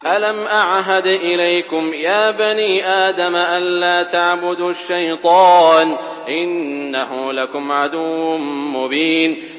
۞ أَلَمْ أَعْهَدْ إِلَيْكُمْ يَا بَنِي آدَمَ أَن لَّا تَعْبُدُوا الشَّيْطَانَ ۖ إِنَّهُ لَكُمْ عَدُوٌّ مُّبِينٌ